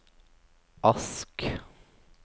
Ask